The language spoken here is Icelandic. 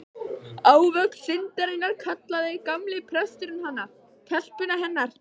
Ávöxt syndarinnar, kallaði gamli presturinn hana, telpuna hennar.